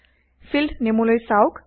field নেইমলৈ চাওক